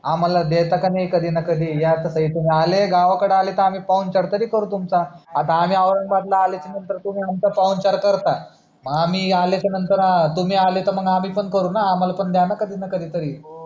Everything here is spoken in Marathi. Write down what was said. आम्हाला देता का नाही कधी ना कधी या त काही तुम्ही आले गावाकडे आले त आम्ही पाहुणचार तरी करू तुमचा आता आम्ही औरंगाबाद ला आल्याचा नंतर तुम्ही यांचा पाहुणचार करता आम्ही आल्याच्या नंतर तुम्ही आले तर मग आम्ही पण करू ना आम्हाला पण द्या ना कधी ना कधी तरी